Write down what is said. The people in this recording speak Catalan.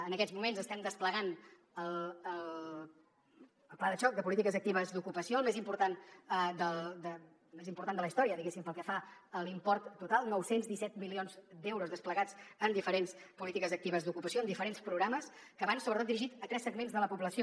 en aquests moments estem desplegant el pla de xoc de polítiques actives d’ocupació el més important de la història diguéssim pel que fa a l’import total nou cents i disset milions d’euros desplegats en diferents polítiques actives d’ocupació en diferents programes que van sobretot dirigits a tres segments de la població